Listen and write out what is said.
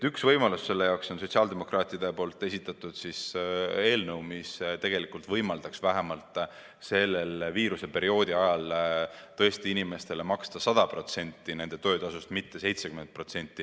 Ühe võimaluse selleks annab sotsiaaldemokraatide esitatud eelnõu, mis võimaldaks vähemalt viiruseperioodil maksta inimestele 100% nende töötasust, mitte 70%.